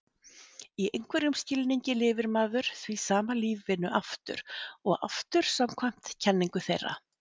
Í einhverjum skilningi lifir maður því sama lífinu aftur og aftur samkvæmt kenningu þeirra.